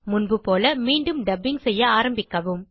முன்புபோல மீண்டும் டப்பிங் செய்ய ஆரம்பிக்கவும்